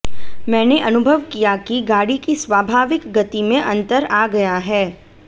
मैंने अनुभव किया कि गाड़ी की स्वाभाविक गति में अंतर आ गया है